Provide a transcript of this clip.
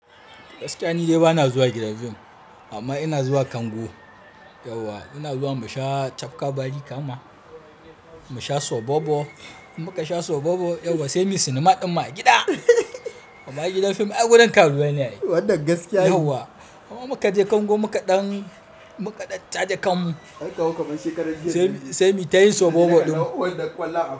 Gaskiya ni dai ba na zuwa gidan fim amma ina zuwa kango. Yauwa ina zuwa musha Tafkar Barikama, musha Sobobo. In muka sha Sobobo yauwa semi sinima din ma a gida. Amma gidan fim a wurin karuwai ne. Yauwa muka je kango muka ɗan muka ɗan taje kan semi ta yin Sobobo ɗin.